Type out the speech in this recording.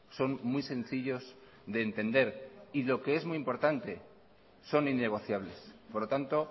son muy sencillos de entender y lo que es muy importante son innegociables por lo tanto